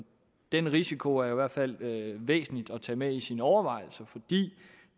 den risiko er det i hvert fald væsentligt at tage med i sine overvejelser fordi